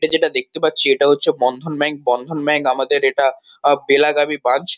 ইটা যেটা দেখতে পাচ্ছি ইটা হচ্ছে বন্ধন ব্যাঙ্ক বন্ধন ব্যাঙ্ক আমাদের এটা বেলাগামী ব্রাঞ্চ ।